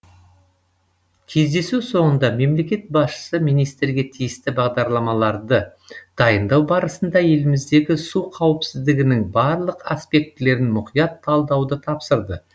кездесу соңында мемлекет басшысы министрге тиісті бағдарламаларды дайындау барысында еліміздегі су қауіпсіздігінің барлық аспектілерін мұқият талдауды тапсырды